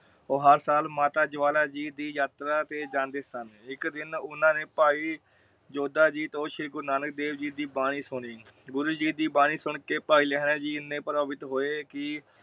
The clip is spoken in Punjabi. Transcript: ਉਹ ਹਰ ਸਾਲ ਮਾਤਾ ਜਵਾਲਾ ਜੀ ਯਾਤਰਾਂ ਤੇ ਜਾਂਦੇ ਸਨ। ਇਕ ਦਿਨ ਓਹਨਾ ਨੇ ਭਾਈ ਯੋਧਾ ਜੀ ਤੋਂ ਸ਼੍ਰੀ ਗੁਰੂ ਨਾਨਕ ਦੇਵ ਜੀ ਦੀ ਬਾਣੀ ਸੁਣੀ ਗੁਰੂ ਜੀ ਦੀ ਬਾਣੀ ਸੁਨ ਭਾਈ ਲਹਿਰਾ ਜੀ ਏਨੇ ਪ੍ਰਭਾਵਿਤ ਹੋਏ ਕਿ